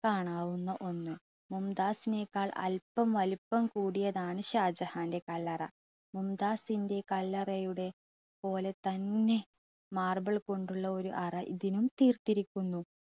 കാണാവുന്ന ഒന്ന്. മുംതാസിനെക്കാൾ അല്പം വലുപ്പം കൂടിയതാണ് ഷാജഹാൻ്റെ കല്ലറ. മുംതാസിൻ്റെ കല്ലറയുടെ പോലെ തന്നെ marble കൊണ്ടുള്ള ഒരു അറ ഇതിനും തീർത്തിരിക്കുന്നു.